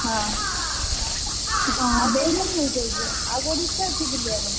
ହଁ ଆଉ ଦେଇଘର ଯିବା। ଆଉ କୋଉଠି ଇଚ୍ଛା ଅଛି ବୁଲିଆପାଇଁ?